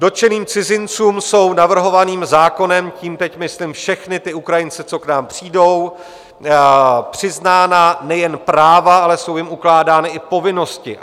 Dotčeným cizincům jsou navrhovaným zákonem, tím teď myslím všechny ty Ukrajince, co k nám přijdou, přiznána nejen práva, ale jsou jim ukládány i povinnosti.